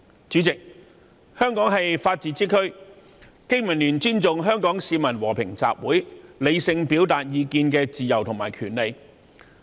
主席，香港是法治之區，經民聯尊重香港市民和平集會、理性表達意見的自由及權利。